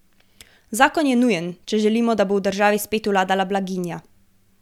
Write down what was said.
Zakon je nujen, če želimo, da bo v državi spet vladala blaginja...